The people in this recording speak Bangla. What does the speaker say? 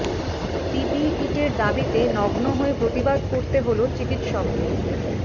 পিপিই কিটের দাবিতে নগ্ন হয়ে প্রতিবাদ করতে হল চিকিত্সকদের